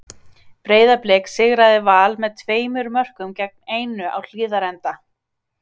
Breiðablik sigraði Val með tveimur mörkum gegn einu á Hlíðarenda.